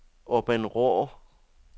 Åbenrå